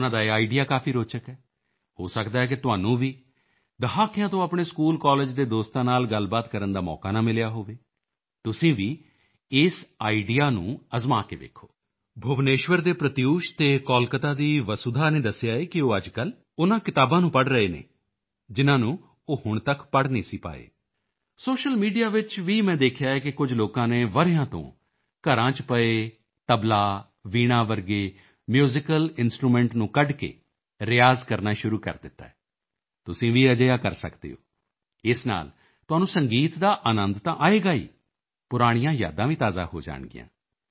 ਉਨ੍ਹਾਂ ਦਾ ਇਹ ਆਈਡੀਈਏ ਕਾਫੀ ਰੋਚਕ ਹੈ ਹੋ ਸਕਦਾ ਹੈ ਕਿ ਤੁਹਾਨੂੰ ਵੀ ਦਹਾਕਿਆਂ ਤੋਂ ਆਪਣੇ ਸਕੂਲਕਾਲਜ ਦੇ ਦੋਸਤਾਂ ਨਾਲ ਗੱਲਬਾਤ ਕਰਨ ਦਾ ਮੌਕਾ ਨਾ ਮਿਲਿਆ ਹੋਵੇ ਤੁਸੀਂ ਵੀ ਇਸ ਆਈਡੀਈਏ ਨੂੰ ਅਜਮਾ ਕੇ ਦੇਖੋ ਭੁਵਨੇਸ਼ਵਰ ਦੇ ਪ੍ਰਤਿਊਸ਼ ਅਤੇ ਕੋਲਕਾਤਾ ਦੀ ਵਸੂਧਾ ਨੇ ਦੱਸਿਆ ਹੈ ਕਿ ਉਹ ਅੱਜਕੱਲ ਉਨ੍ਹਾਂ ਕਿਤਾਬਾਂ ਨੂੰ ਪੜ੍ਹ ਰਹੇ ਨੇ ਜਿਨ੍ਹਾਂ ਨੂੰ ਹੁਣ ਤੱਕ ਪੜ੍ਹ ਨਹੀਂ ਪਾਏ ਸਨ ਸੋਸ਼ੀਅਲ ਮੀਡੀਆ ਵਿੱਚ ਵੀ ਮੈਂ ਦੇਖਿਆ ਕਿ ਕੁਝ ਲੋਕਾਂ ਨੇ ਵਰ੍ਹਿਆਂ ਤੋਂ ਘਰਾਂ ਚ ਪਏ ਤਬਲਾ ਵੀਣਾ ਵਰਗੇ ਮਿਊਜ਼ੀਕਲ ਇੰਸਟਰੂਮੈਂਟ ਨੂੰ ਕੱਢ ਕੇ ਰਿਆਜ਼ ਕਰਨਾ ਸ਼ੁਰੂ ਕਰ ਦਿੱਤਾ ਹੈ ਤੁਸੀਂ ਵੀ ਅਜਿਹਾ ਕਰ ਸਕਦੇ ਹੋ ਇਸ ਨਾਲ ਤੁਹਾਨੂੰ ਸੰਗੀਤ ਦਾ ਅਨੰਦ ਤਾਂ ਆਏਗਾ ਹੀ ਪੁਰਾਣੀਆਂ ਯਾਦਾਂ ਵੀ ਤਾਜ਼ੀਆਂ ਹੋ ਜਾਣਗੀਆਂ